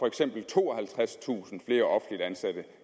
eksempel tooghalvtredstusind flere offentligt ansatte